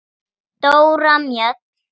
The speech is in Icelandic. Dóra Mjöll.